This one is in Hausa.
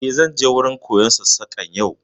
Eh, zan je wurin koyon Sassaƙan yau